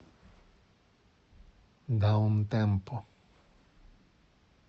даунтемпо